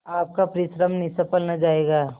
आपका परिश्रम निष्फल न जायगा